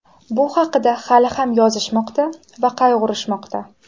Bu haqida hali ham yozishmoqda va qayg‘urishmoqda.